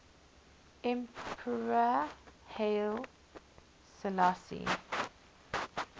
emperor haile selassie